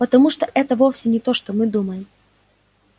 потому что это вовсе не то что мы думаем